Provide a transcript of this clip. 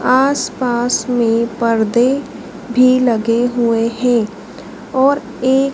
आसपास में पर्दे भी लगे हुए हैं और एक--